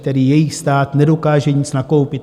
Tedy jejich stát nedokáže nic nakoupit.